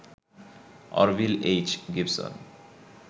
Orville H. Gibson